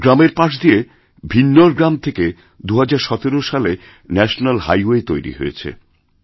আমাদের গ্রামের পাশ দিয়ে ভিন্নর গ্রাম থেকে ২০১৭ সালে ন্যাশনালহাইওয়ে তৈরি হয়েছে